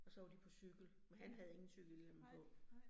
Og så var de på cykel, men han havde ingen cykelhjelm på